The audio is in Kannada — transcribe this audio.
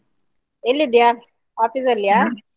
ಎಲ್ಲಿದ್ದೀಯಾ office ಅಲ್ಲಿಯಾ?